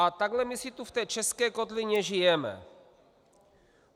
A takhle my si tu v té české kotlině žijeme.